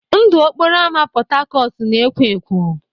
Ndụ okporo ámá Port Harcourt na-ekwọ ekwọ.